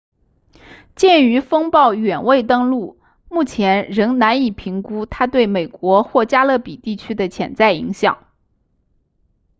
鉴于风暴远未登陆目前仍难以评估它对美国或加勒比地区的潜在影响